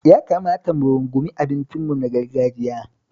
Ya kamata mu rungumi abincinmu na gargajiya.